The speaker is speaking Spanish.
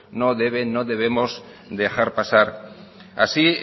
no debe no debemos dejar pasar así